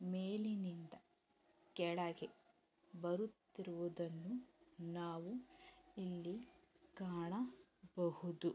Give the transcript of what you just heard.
ಮೇಲಿನಿಂದ ಕೆಳಗೆ ಬರುತ್ತಿರುವುದನ್ನು ನಾವು ಇಲ್ಲಿ ಕಾಣಬಹುದು.